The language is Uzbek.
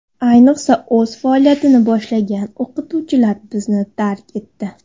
Ayniqsa, o‘z faoliyatini boshlagan o‘qituvchilar bizni tark etdi.